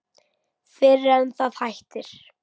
Fyrr en það hættir.